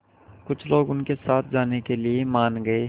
कुछ लोग उनके साथ जाने के लिए मान गए